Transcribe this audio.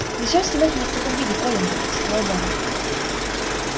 зачем снимать меня в таком виде колин запротестовал гарри